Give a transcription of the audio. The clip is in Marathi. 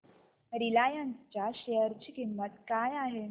रिलायन्स च्या शेअर ची किंमत काय आहे